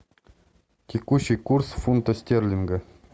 текущий курс фунта стерлинга